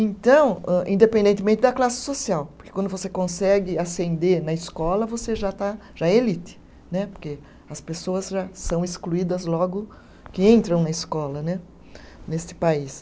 Então âh, independentemente da classe social, porque quando você consegue ascender na escola, você já está, já é elite né, porque as pessoas já são excluídas logo que entram na escola né, neste país.